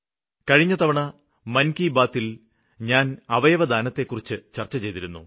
കഴിഞ്ഞ തവണ മന് കി ബാത്തില് ഞാന് അവയവദാനത്തെക്കുറിച്ച് ചര്ച്ച ചെയ്തിരുന്നു